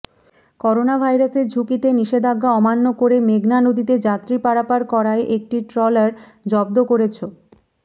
করোনাভাইরাসের ঝুঁকিতে নিষেধাজ্ঞা অমান্য করে মেঘনা নদীতে যাত্রী পারাপার করায় একটি ট্রলার জব্দ করেছ